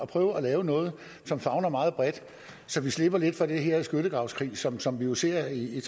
prøver at lave noget som favner meget bredt så vi slipper for den her skyttegravskrig som som vi jo ser i